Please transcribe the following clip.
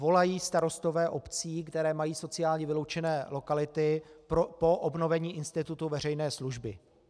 Volají starostové obcí, které mají sociálně vyloučené lokality, po obnovení institutu veřejné služby.